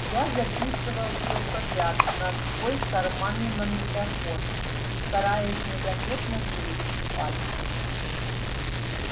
я записывал все подряд на свой карманный магнитофон стараясь незаметно шевелить пальцами